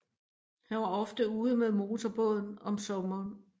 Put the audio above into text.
Han var ofte ude med motorbåden om sommeren